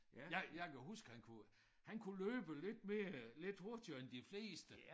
Jeg jeg kan huske han kunne han kunne løbe lidt mere lidt hurtigere end de fleste